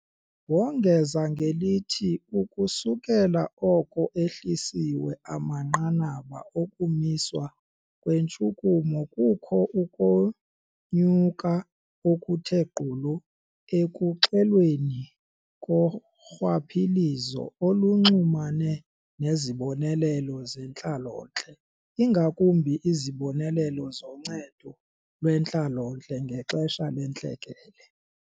Wongeza ngelithi ukusukela oko ehlisiwe amanqanaba okumiswa kweentshukumo, kukho ukonyuka okuthe gqolo ekuxelweni korhwaphilizo olunxulumene nezibonelelo zentlalontle, ingakumbi izibonelelo zoNcedo lweNtlalontle ngexesha leNtlekele.